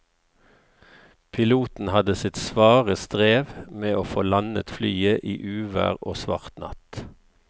Piloten hadde sitt svare strev med å få landet flyet i uvær og svart natt.